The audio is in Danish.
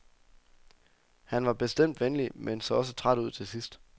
Han var bestemt venlig, men så også træt ud til sidst.